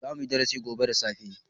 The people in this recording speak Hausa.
Zamu yi darasi gobe da safe.